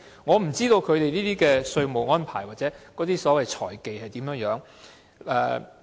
我不知道他們的稅務安排或所謂財技如何？